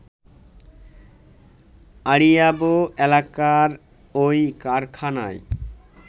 আড়িয়াবো এলাকার ওই কারখানায়